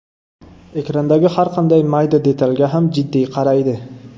Ekrandagi har qanday mayda detalga ham jiddiy qaraydi.